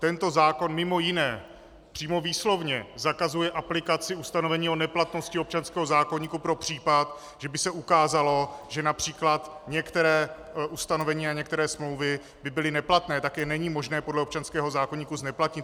Tento zákon mimo jiné přímo výslovně zakazuje aplikaci ustanovení o neplatnosti občanského zákoníku pro případ, že by se ukázalo, že například některá ustanovení a některé smlouvy by byly neplatné, tak je není možné podle občanského zákoníku zneplatnit.